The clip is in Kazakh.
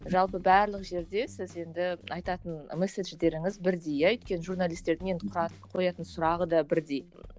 жалпы барлық жерде сіз енді айтатын месседждеріңіз бірдей иә өйткені журналистердің енді қоятын сұрағы да бірдей